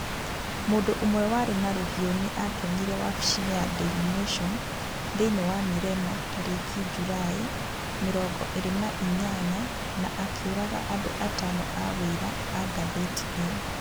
Mũndũ ũmwe warĩ na rũhiũ nĩ aatoonyire wabici-inĩ ya daily nation thĩinĩ wa Mirema tarĩki Julaĩ mĩrongo ĩrĩ na inyanya na akĩũraga andũ atano a wĩra a ngathĩti ĩyo.